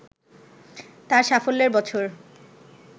তার সাফল্যের বছর